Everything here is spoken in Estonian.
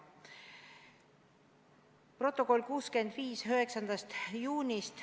Protokoll nr 65 9. juunist.